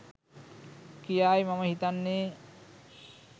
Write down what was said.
කියායි මම හිතන්නේ